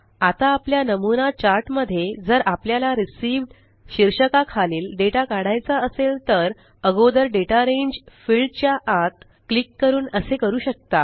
आता आपल्या नमूना चार्ट मध्ये जर आपल्याला रिसीव्ह्ड शीर्षका खालील डेटा काढायचा असेल तर अगोदर दाता रांगे फील्ड च्या आत क्लिक करून असे करू शकता